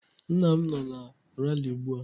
Nna m nọ na ralị ugbua.